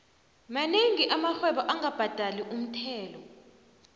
monengi amarhwebo angabhadali umthelo